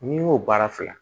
N'i y'o baara fila